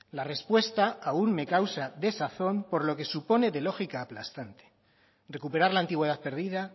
la respuesta aún me causa desazón por lo que supone de lógica aplastante recuperar la antigüedad perdida